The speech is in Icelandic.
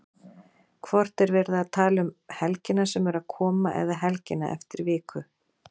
Hvort er verið að tala um helgina sem er að koma eða helgina eftir viku?